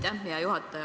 Aitäh, hea juhataja!